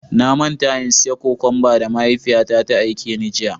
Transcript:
Na manta in siya cokumba da mahaifiya na ta aike ni.